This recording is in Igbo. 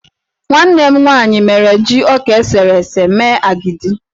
Nwanne m nwaanyị mere ji ọka esere ese mee agidi.